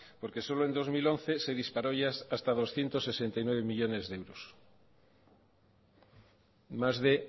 porque solo en dos mil once se disparó ya hasta doscientos sesenta y nueve millónes de euros más de